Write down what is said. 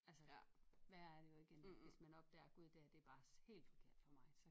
Altså værre er det jo ikke end hvis man opdager Gud det her det er bare helt forkert for mig så